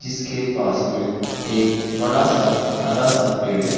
जिसके पास में एक बड़ा सा हरा सा पेड़ है।